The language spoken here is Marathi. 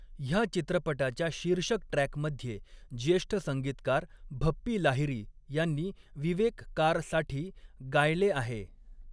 ह्या चित्रपटाच्या शीर्षक ट्रॅकमध्ये ज्येष्ठ संगीतकार भप्पी लाहिरी ह्यांनी विवेक कारसाठी गायले आहे.